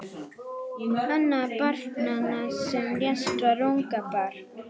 Annað barnanna sem lést var ungabarn